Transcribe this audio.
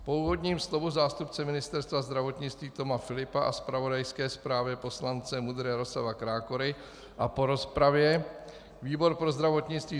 Po úvodním slovu zástupce Ministerstva zdravotnictví Toma Filipa a zpravodajské zprávě poslance MUDr. Jaroslava Krákory a po rozpravě výbor pro zdravotnictví